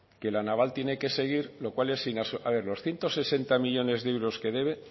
que la naval tiene que seguir lo cual es a ver los ciento sesenta millónes de euros que debe